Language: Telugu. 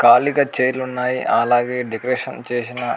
ఖాళీగా చేర్లు ఉన్నాయి. అలాగే డెకరేషన్ చేసిన --